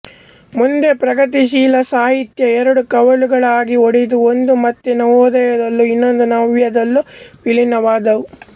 ಮುಂದೆ ಪ್ರಗತಿಶೀಲ ಸಾಹಿತ್ಯ ಎರಡು ಕವಲುಗಳಾಗಿ ಒಡೆದು ಒಂದು ಮತ್ತೆ ನವೋದಯದಲ್ಲೂ ಇನ್ನೊಂದು ನವ್ಯದಲ್ಲೂ ವಿಲೀನವಾದುವು